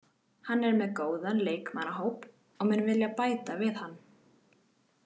Hann er með góðan leikmannahóp og mun vilja bæta við hann.